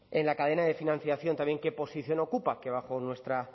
en la cadena de financiación qué posición ocupa que bajo nuestra